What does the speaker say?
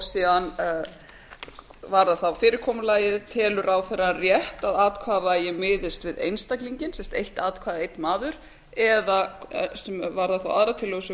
síðan varðar fyrirkomulagið telur ráðherrann rétt að atkvæðavægi miðist við einstaklinginn sem sagt eitt atkvæði einn maður eða sem varðar þá aðrar tillögur sem